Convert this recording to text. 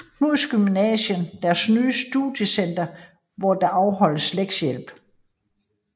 Knuds Gymnasium deres nye Studiecenter hvor der afholdes lektiehjælp